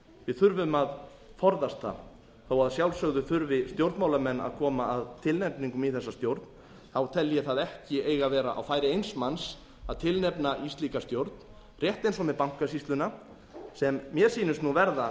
við þurfum að forðast það þó að að sjálfsögðu þurfi stjórnmálamenn að koma að tilnefningum í þessa stjórn tel ég það ekki eiga að vera á færi eins manns að tilnefna í slíka stjórn rétt eins og með bankasýsluna sem mér sýnist nú verða